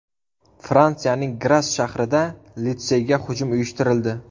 Fransiyaning Gras shahrida litseyga hujum uyushtirildi.